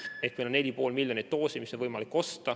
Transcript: Ehk meil on võimalik osta 4,5 miljonit doosi.